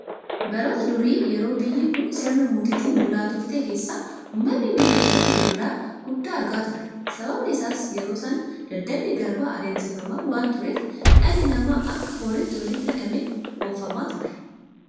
Baroota durii yeroo biyyi kun sirna mootiitiin bulaa turte keessa uummanni biyya kanaa gidiraa guddaa argaa ture. Sababni isaas yeroo sana daldalli garbaa adeemsifamaa waanta tureef dhalli namaa akka horiitti walitti hidhamee oofamaa ture.